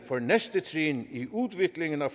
for næste trin i udviklingen af